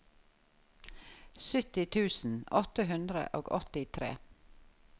sytti tusen åtte hundre og åttitre